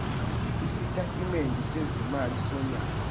isitatimende sezimali sonyaka